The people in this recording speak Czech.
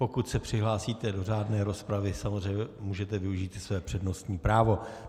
Pokud se přihlásíte do řádné rozpravy, samozřejmě můžete využít i své přednostní právo.